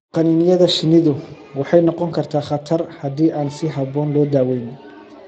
Qaniinyada shinnidu waxay noqon kartaa khatar haddii aan si habboon loo daweyn.